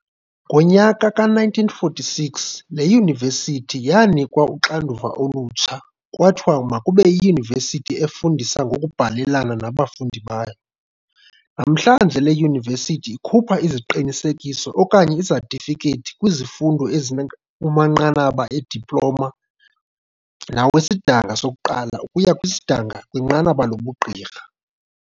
Ngomnyaka ka-1946, le yunivesithi yaanikwa uxanduva olutsha kwathiwa makube yiyunivesithi efundisa ngokubhalelana nabafundi bayo. Namhlanje le Yunivesithi ikhupha iziqinisekiso okanye izetifikethi kwizifundo ezikumanqanaba e-diploma nawesidanga sokuqala ukuya kwisidanga kwinqaba lobuGqirha.